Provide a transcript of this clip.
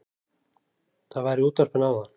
Það var í útvarpinu áðan